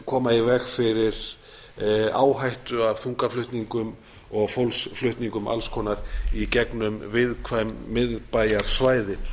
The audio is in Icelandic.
koma í veg fyrir áhættu af þungaflutningum og fólksflutningum alls konar í gegnum viðkvæm miðbæjarsvæði